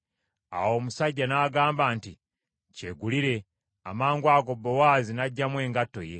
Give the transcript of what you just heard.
Awo omusajja n’agamba nti, “Kyegulire.” Amangwago Bowaazi n’aggyamu engatto ye.